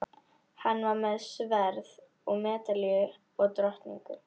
Hann var með sverð og medalíu og drottningu.